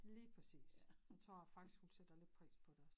Lige præcis jeg tror faktisk hun sætter lidt pris på det næsten